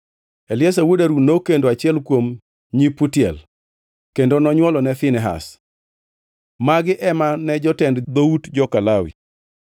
Eliazar wuod Harun nokendo achiel kuom nyi Putiel, kendo nonywolone Finehas. Magi ema ne jotend dhout joka Lawi.